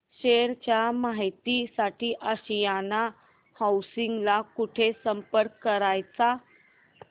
share च्या माहिती साठी आशियाना हाऊसिंग ला कुठे संपर्क करायचा